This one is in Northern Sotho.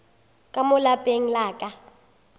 ka mo lapeng la ka